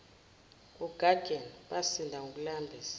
ogageni basinda ngokulambisa